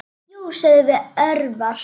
Jú, sögðum við örar.